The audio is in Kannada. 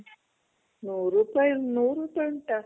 ನೂರ್ ರೂಪಾಯಿ